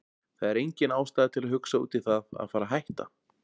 Það er engin ástæða til að hugsa út í það að fara hætta.